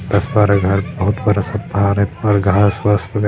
दस-बारह घर बहुत बड़ा-सा पहाड़ है ऊपर घास-वास वग --